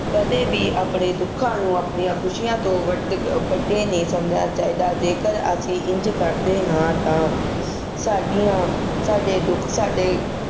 ਕਦੇ ਵੀ ਆਪਣੇ ਦੁੱਖਾਂ ਨੂੰ ਆਪਣੀਆਂ ਖੁਸ਼ੀਆਂ ਤੋਂ ਵੱਡ~ ਅਹ ਵੱਡੇ ਨਹੀਂ ਸਮਝਣਾ ਚਾਹੀਦਾ। ਜੇਕਰ ਅਸੀਂ ਇੰਝ ਕਰਦੇ ਹਾਂ ਤਾਂ ਸਾਡੀਆਂ ਸਾਡੇ ਦੁੱਖ ਸਾਡੇ